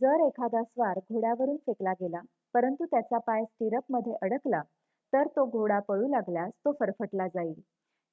जर एखादा स्वार घोड्यावरुन फेकला गेला परंतु त्याचा पाय स्टिरअपमध्ये अडकला तर तो घोडा पळू लागल्यास तो फरफटला जाईल